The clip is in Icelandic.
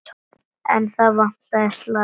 En þar vantaði slag.